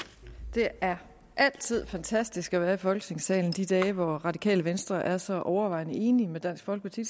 det er altid fantastisk at være i folketingssalen de dage hvor radikale venstre er så overvejende enig med dansk folkeparti